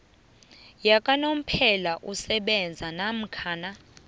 yakanomphela esebenzako namkha